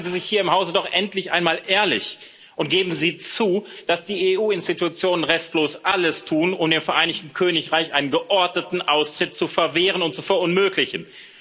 Machen Sie sich hier im Hause doch endlich einmal ehrlich und geben Sie zu, dass die EU Institutionen restlos alles tun, um dem Vereinigten Königreich einen geordneten Austritt zu verwehren und zu verunmöglichen.